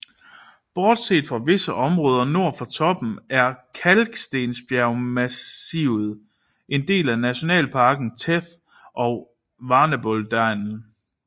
Bortset fra visse områder nord for toppen er kalkstensbjergmassivet en del af Nationalparkerne Theth og Valbonëdalen